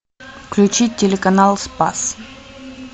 включить телеканал спас